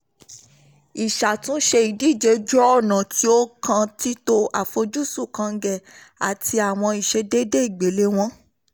ìṣàtúnṣe ìdíje jẹ́ ọ̀nà tí ó kan títo àfojúsùn kọ́ngẹ àti àwọn ìṣèdédé ìgbéléwọ́n.